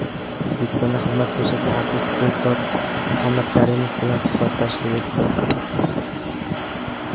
O‘zbekistonda xizmat ko‘rsatgan artist Behzod Muhammadkarimov bilan suhbat tashkil etdi.